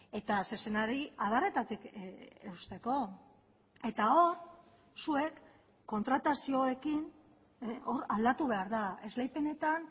eta zezenari adarretatik eusteko eta hor zuek kontratazioekin hor aldatu behar da esleipenetan